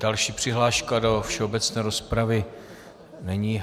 Další přihláška do všeobecné rozpravy není.